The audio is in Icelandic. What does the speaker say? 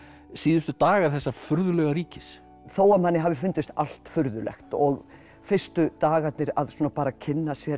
síðustu dagar þessa furðulega ríkis þó að manni hafi fundist allt furðulegt og fyrstu dagarnir bara að kynna sér